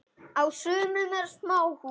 Á sumum eru smáhús.